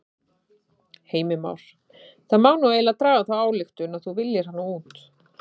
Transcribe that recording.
Heimir Már: Það má nú eiginlega draga þá ályktun að þú viljir hana út?